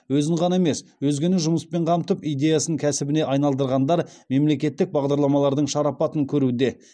өзін ғана емес өзгені жұмыспен қамтып идеясын кәсібіне айналдырғандар мемлекеттік бағдарламалардың шарапатын көруде